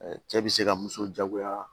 Cɛ bi se ka muso jagoya